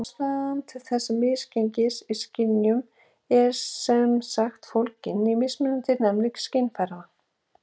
Ástæðan til þessa misgengis í skynjun er sem sagt fólgin í mismunandi næmni skynfæranna.